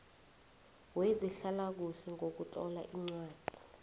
wezehlalakuhle ngokutlola incwadi